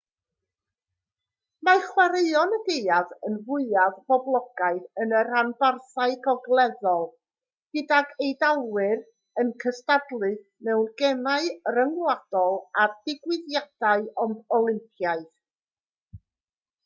mae chwaraeon y gaeaf yn fwyaf poblogaidd yn y rhanbarthau gogleddol gydag eidalwyr yn cystadlu mewn gemau rhyngwladol a digwyddiadau olympaidd